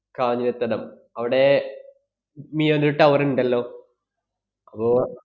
കാഞ്ഞിരത്തടം, അവിടെ മ~ മിയോന്‍റെ ഒരു tower ഇണ്ടല്ലോ അപ്പൊ